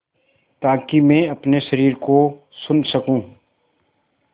ताकि मैं अपने शरीर को सुन सकूँ